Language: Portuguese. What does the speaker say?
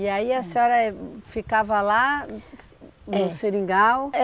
E aí a senhora ficava lá é no seringal? É